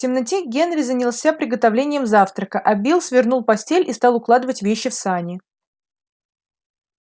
в темноте генри занялся приготовлением завтрака а билл свернул постель и стал укладывать вещи в сани